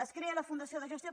es crea la fundació de gestió